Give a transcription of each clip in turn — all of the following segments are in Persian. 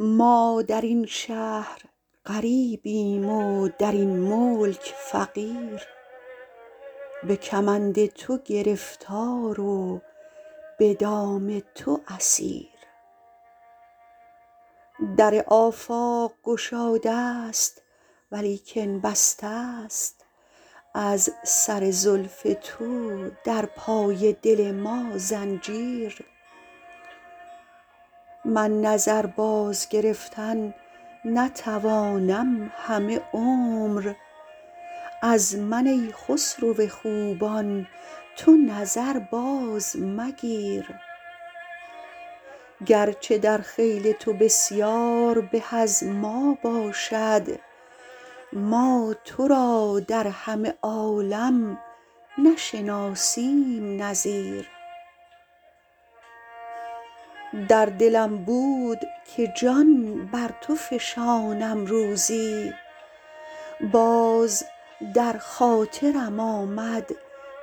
ما در این شهر غریبیم و در این ملک فقیر به کمند تو گرفتار و به دام تو اسیر در آفاق گشاده ست ولیکن بسته ست از سر زلف تو در پای دل ما زنجیر من نظر بازگرفتن نتوانم همه عمر از من ای خسرو خوبان تو نظر بازمگیر گرچه در خیل تو بسیار به از ما باشد ما تو را در همه عالم نشناسیم نظیر در دلم بود که جان بر تو فشانم روزی باز در خاطرم آمد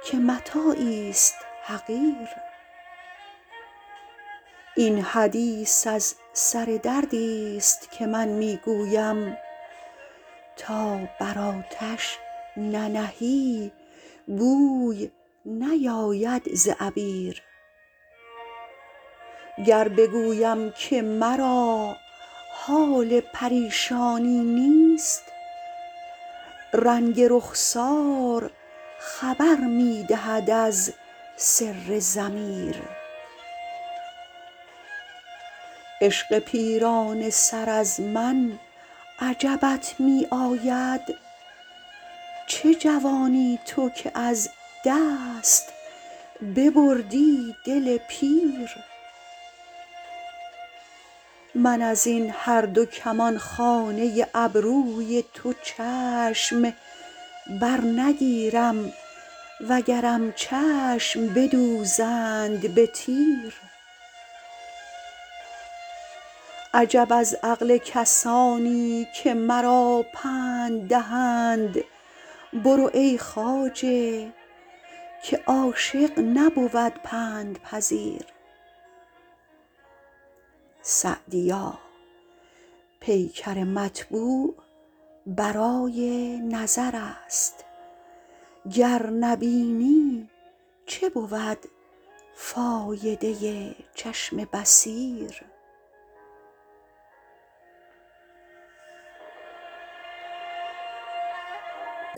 که متاعیست حقیر این حدیث از سر دردیست که من می گویم تا بر آتش ننهی بوی نیاید ز عبیر گر بگویم که مرا حال پریشانی نیست رنگ رخسار خبر می دهد از سر ضمیر عشق پیرانه سر از من عجبت می آید چه جوانی تو که از دست ببردی دل پیر من از این هر دو کمانخانه ابروی تو چشم برنگیرم وگرم چشم بدوزند به تیر عجب از عقل کسانی که مرا پند دهند برو ای خواجه که عاشق نبود پندپذیر سعدیا پیکر مطبوع برای نظر است گر نبینی چه بود فایده چشم بصیر